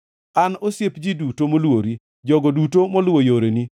An osiep ji duto moluori, jogo duto moluwo yoreni.